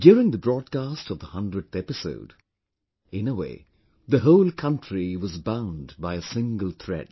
During the broadcast of the 100th episode, in a way the whole country was bound by a single thread